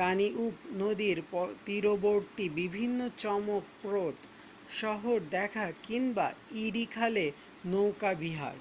Danube নদীর তীরবর্তী বিভিন্ন চমকপ্রদ শহর দেখা কিংবা ইরি খালে নৌকাবিহার